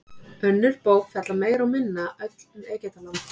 Önnur bók fjallar meira og minna öll um Egyptaland.